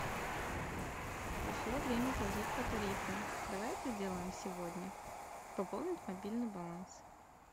пришло время платить по тарифу давай это сделаем сегодня пополнить мобильный баланс